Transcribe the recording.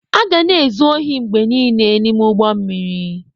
A ga na-ezu ohi mgbe niile n'ime ụgbọ mmiri.